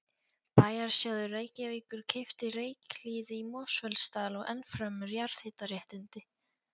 Bæjarsjóður Reykjavíkur keypti Reykjahlíð í Mosfellsdal og ennfremur jarðhitaréttindi